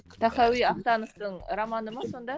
тахауи ахтановтың романы ма сонда